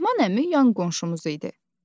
Mehman əmi yan qonşumuz idi.